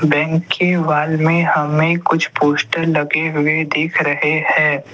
Bank की wall में हमें कुछ पोस्टर लगे हुए दिख रहे हैं।